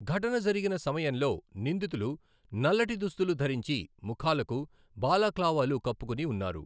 ఘటన జరిగిన సమయంలో నిందితులు నల్లటి దుస్తులు ధరించి ముఖాలకు బాలాక్లావాలు కప్పుకుని ఉన్నారు.